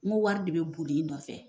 N ko wari de bɛ boli i nɔ nɔfɛ